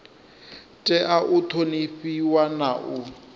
tea u ṱhonifhiwa na u